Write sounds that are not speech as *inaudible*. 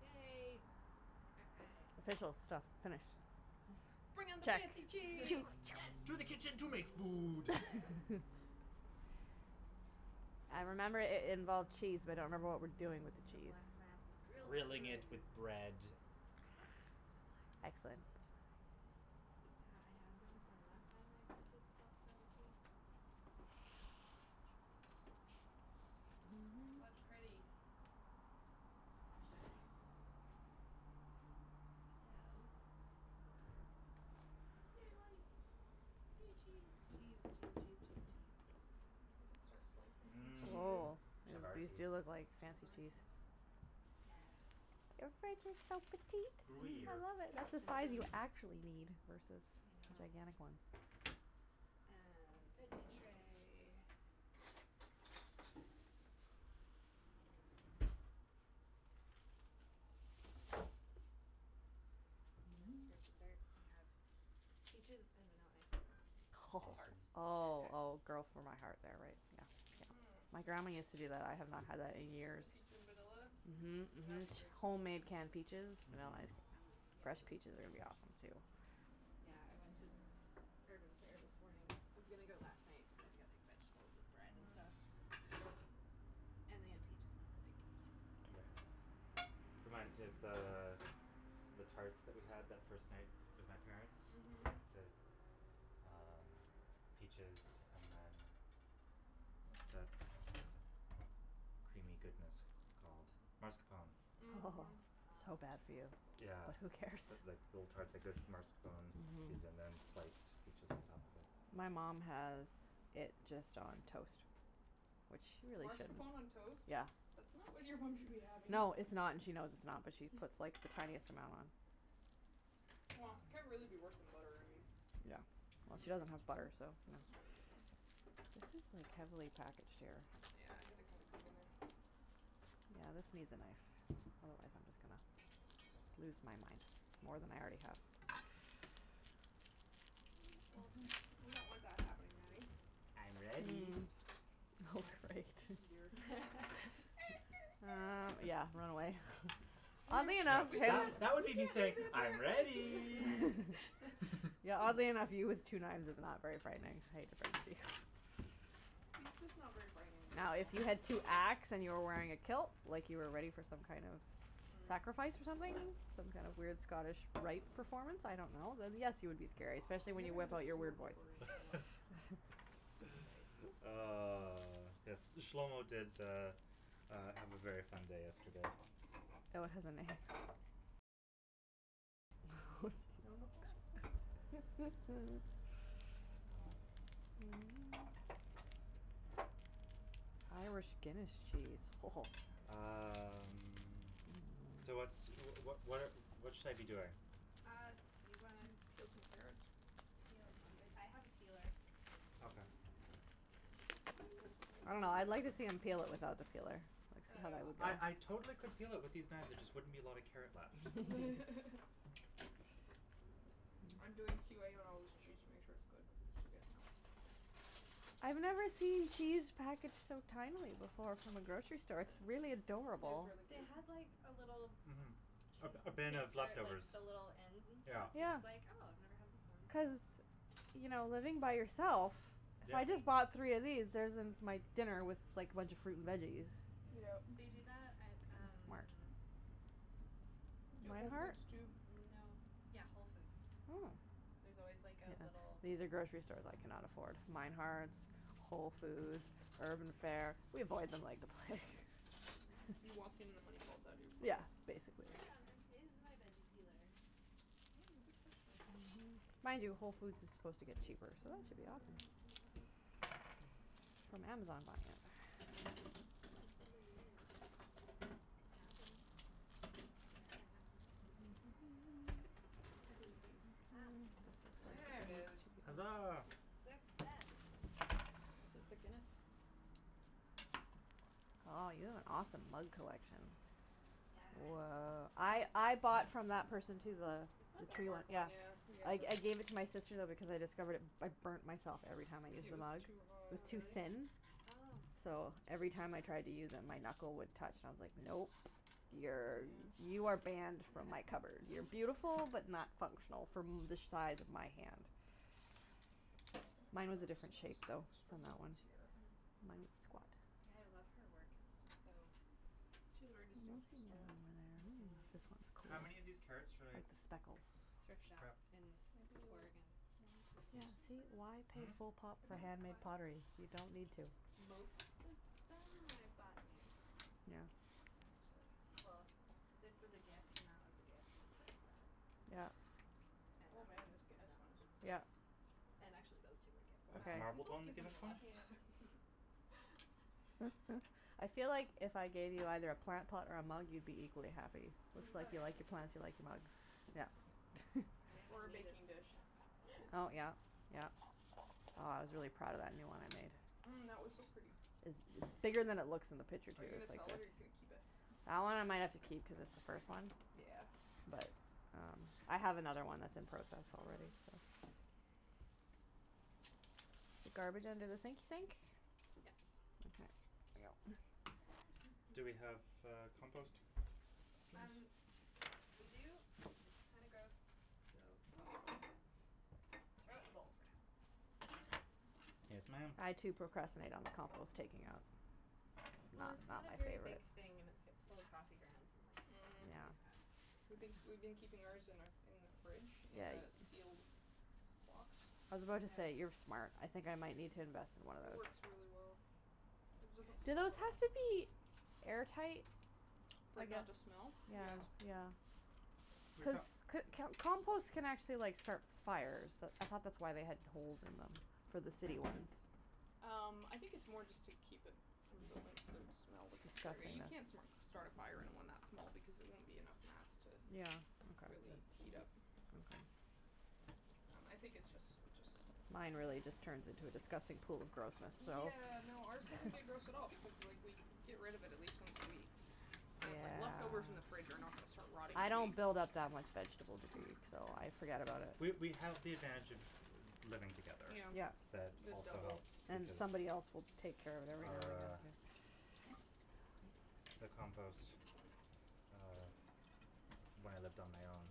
Yay *noise* Official stuff, finish Bring *noise* on the Check. fancy Cheese. cheese. To the kitchen to make food *laughs* *laughs* I remember it it involved cheese but I don't remember what we're doing with the The cheese. black mats look so Grilled Grilling good. it with cheese! bread The black Excellent. mats are such a good Yeah, I idea. had Yeah. them from last time I attempted to self photography What pretties All right So Yay lights Yay cheese Cheese cheese cheese cheese cheese I could start slicing some cheeses. Mmm Oh *inaudible* chavatis feel it like fancy cheese Chavatis Yeah. *inaudible* I Gruyere love it. That's the size you actually *inaudible* need Versus I know gigantic one. Um, veggie tray And then for dessert we have, *noise* peaches, and vanilla ice cream. Home tarts. Awesome. *noise* Oh oh girl for my heart there right. Yeah, yeah. Mmm My grandma used to do that. I have not had that in years. *inaudible* peach in vanilla? Mhm Yeah, mhm it's a great *inaudible* homemade canned peaches, vanilla Mhm. ice cream. Fresh peaches are gonna be awesome too Yeah, I went to Urban Fare this morning, I was gonna go last night cuz I had to get like vegetables and bread and Mhm stuff And they had peaches and I was like, yes Very nice. Reminds me of the, the tarts that we had that first night, with my parents. Mhm The, um, peaches and then, what's that, creamy goodness called, mascarpone Mhm *noise* so bad for you Yeah Oh who cares That's like little tarts like that with mascarpone cheese and Mhm then sliced peaches on top of it My mom has it just on toast. Which she really shouldn't Marscapone on toast? Yeah. That's not what your mom should be having. No, it's not and she knows it's not but she puts *laughs* like *noise* the tiniest amount on Wha, can't really be worse than butter I mean Yeah, well she doesn't have butter, so *inaudible* *inaudible* This is like heavily packaged here Yeah, I had to kinda dig in there Yeah, this needs a knife. Otherwise I'm just gonna lose my mind, more than I already have. *inaudible* we don't want that happening, Natty. I'm ready. Mm. Oh Oh, great oh, dear *laughs* Uh, *noise* yeah, run away *laughs* Oddly No enough that that would me just saying, "I'm ready" *inaudible* *laughs* Yeah oddly enough, you *laughs* *laughs* with two knives is not very frightening *inaudible* He's just not very frightening in No, if general. you had two axe and you were wearing a kilt like you were ready for some kind of Mm sacrifice or something, some kind of weird Scottish rite performance, I don't know, then yes you would be scary. Especially We when haven't had a smoked *inaudible* in a *inaudible* while *laughs* Ah, yes, this Shlomo did uh uh have a very fun day yesterday. Fellow has a name? Oh No *inaudible* accents jeez *noise* *laughs* Um *noise* Irish Guinness cheese ho ho Um, so what's, wh- wh- what what should I be doing? Uh, you gonna Um, peel some carrots? peel some- I have a peeler. Okay. I don't know, I'd like to see him peel it *inaudible* without the peeler. Like how that Uh would I I go totally could peel it with these knives there just wouldn't be a lot of carrot left. *laughs* *laughs* I'm doing Q A on all this cheese to make sure it's good just so you guys know. Okay I've never seen cheese packaged so tinily before from the grocery *noise* store, it's really It is adorable. really They cute. had like a little Mhm A cheese a bin of taster at like leftovers the little ends and Yeah. stuff I Yeah. was like oh I've never had this ones so Cuz, you know living by yourself Yeah. I just bought three of these, there's it's my dinner, was like a bunch of fruit and veggies. Yeah. They do that at um Where? Do at Whole Meinhardts? Foods too No. Yeah, Whole Foods. Oh. There's always like a little *noise* These are grocery stores I can not afford. Meinhardts, Whole Foods, Urban Fare. We avoid them like the plague. *laughs* You walk in and the money falls out of your Yeah pocket basically Where on earth is my veggie peeler? That is a good question Mind you Whole Foods is supposed to get cheaper It's So that should in be awesome another drawer. From Amazon buying it That's really weird, had one, swear I had one I believe you. Ah *noise* There it is. Hazaa! Success! Is this the Guinness? Aw you have an awesome mug collection. Yeah. *noise* I I bought from that person too the This one? the *inaudible* the tree one, work one yeah. yeah I I *inaudible* gave it to my sister though because I discovered it, I burnt myself every time I used It the was mug, too it hot. was Oh too really? thin Oh So, every time I tried to use it my knuckle would touch and I was like, nope, you're Yeah you are banned from my cupboard, you're beautiful but *laughs* not functional from the size of my hand. Mine was a different shape though, from that one. Mm. *inaudible* Yeah I love her work, it's just so She has a very distinctive style *inaudible* this one's cool, How many of these carrots should I like the speckles Thrift shop grab? and Maybe like, bargain one per Yeah person for see, why now. pay Hmm? full pop for Maybe like handmade five. pottery, you don't need to Most of them I bought new, Yeah actually Well, this was a gift and that was a gift and so was that. Yeah And Oh that man one this and Guinness that one one is *inaudible* Yeah And actually those two were gift Oh Oh is the sorry *inaudible* marbled people have one the given me a Guinness lot one? of Yeah mugs *laughs* *laughs* I feel like if I gave you either a plant pot or a mug you'd be equally happy. Mm It's like Oh you yeah like the plants you like the mugs. Yeah I am Or in a need of baking dish Oh yeah, *laughs* yeah, wow I was really proud of that new one I made. Mm that was so pretty! It's bigger than it looks in the picture too. Are you gonna It's sell like it the or you gonna keep it? That one I might have to keep cuz it's the first one. Yeah But, um, I have another one that's in process already, Mhm so The garbage under the sink sink? Yeah Okay Do we have, uh, compost? Um, we do, it's kinda gross, so Throw it in the bowl, for now Yes ma'am! I too procrastinate on the compost taking out. No, Well it's it's not not a my very favorite big thing and its gets full of coffee grounds and like, Mm really Yeah fast We been we've been keeping ours in our in the fridge in Ya- a yes sealed box I was about to say, "You're Yeah. smart", I think I might need to invest in one of It those works really well. It doesn't Do those have to be *inaudible* air tight? For it not to smell? Yeah Yes. yeah Cuz *inaudible* c- can't compost can actually like start fires, that's I thought that's why they have holes in them, for the city ones Um, I think it's more just to keep it from building up poop smell, Disgusting you can't that's start a fire in one that small because it won't be enough mass to Yeah, okay, really heat up okay Um I think it's just it's just Mine really just turns into a disgusting pool of grossness, so Yeah, no, ours *laughs* doesn't get gross at all because like we get rid of it at least once a week I mean like leftovers in the Yeah fridge are not going to start rotting I in a don't week build up that much vegetable debris, so I forget about it We we have the advantage of living together Yeah Yeah That the also helps *inaudible* And Because, somebody else will take care of everything our *inaudible* the compost, uh, when I lived on my own,